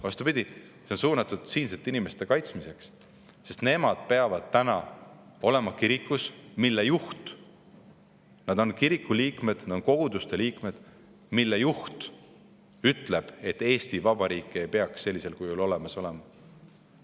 Vastupidi, see on siinsete inimeste kaitsmiseks, sest nemad peavad olema sellise kiriku liikmed, mille juht ütleb, et Eesti Vabariiki ei peaks sellisel kujul olemas olema.